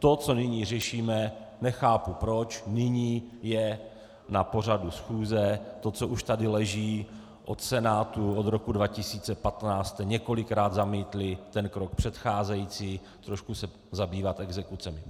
To, co nyní řešíme, nechápu proč nyní je na pořadu schůze, to, co už tady leží od Senátu od roku 2015, jste několikrát zamítli ten krok předcházející trošku se zabývat exekucemi.